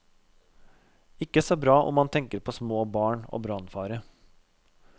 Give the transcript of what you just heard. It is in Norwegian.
Ikke så bra om man tenker på små barn og brannfare.